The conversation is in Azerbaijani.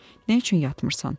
Nə üçün yatmırsan?